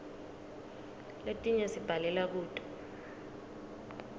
letinye sibhalela kuto